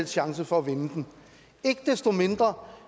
chance for at vinde den ikke desto mindre